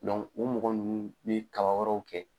u mɔgɔ nunnu bi kaba wɛrɛw kɛ.